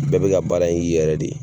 Bɛɛ bɛka baara i yɛrɛ de ye.